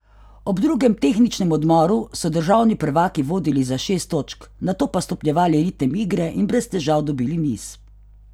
Ob drugem tehničnem odmoru so državni prvaki vodili za šest točk, nato pa stopnjevali ritem igre in brez težav dobili niz.